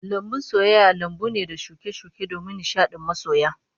Lambun soyayya lambu ne da shuke-shuke domin nishadin masoya